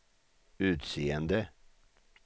utseende